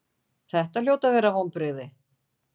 Þetta hljóta að vonbrigði?